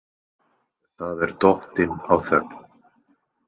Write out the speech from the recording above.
Það er dottin á þögn.